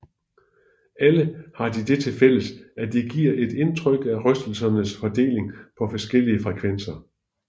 Alle har de det til fælles at de giver et indtryk af rystelsernes fordeling på forskellige frekvenser